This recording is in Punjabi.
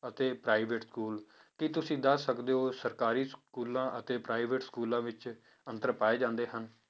ਅਤੇ private schools ਕੀ ਤੁਸੀਂ ਦੱਸ ਸਕਦੇ ਹੋ ਸਰਕਾਰੀ schools ਅਤੇ private schools ਵਿੱਚ ਅੰਤਰ ਪਾਏ ਜਾਂਦੇ ਹਨ?